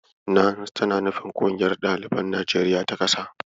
"NANS" tana nufin "Ƙungiyar Ɗaliban Najeriya ta ƙasa".